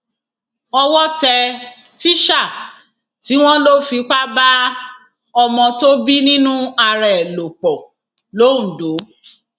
owó tẹ tísà tí wọn lò ń fipá bá ọmọ tó bí nínú ara ẹ lò pọ lọńdọ